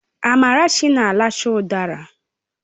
Amarachi na aracha udara